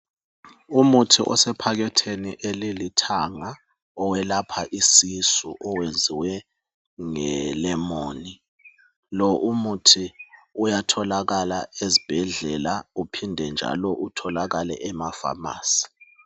Umuthi osephakhethini elilithanga owelapha isisu owenziwe ngelemoni lo umuthi uyatholakala ezibhedlela uphinde njalo utholakale emaFamasi.